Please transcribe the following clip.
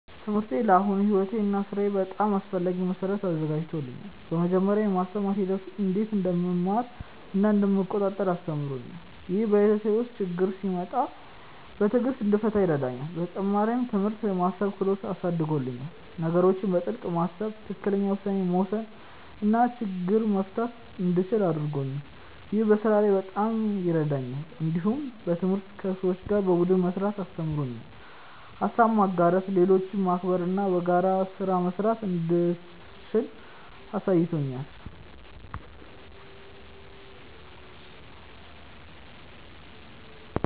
ትምህርቴ ለአሁኑ ሕይወቴ እና ሥራዬ በጣም አስፈላጊ መሠረት አዘጋጅቶኛል። በመጀመሪያ፣ የማስተማር ሂደቱ እንዴት እንደምማር እና እንደምቆጣጠር አስተምሮኛል። ይህ በሕይወቴ ውስጥ ችግኝ ሲመጣ በትዕግሥት እንድፈታ ይረዳኛል። በተጨማሪም፣ ትምህርት የማሰብ ክህሎትን አሳድጎልኛል። ነገሮችን በጥልቅ ማሰብ፣ ትክክለኛ ውሳኔ መውሰድ እና ችግኝ መፍታት እንደምችል አድርጎኛል። ይህ በስራ ላይ በጣም ይረዳኛል። እንዲሁም ትምህርት ከሰዎች ጋር በቡድን መስራትን አስተምሮኛል። ሀሳብ ማጋራት፣ ሌሎችን ማክበር እና በጋራ ስራ መስራት እንደምችል አሳይቶኛል።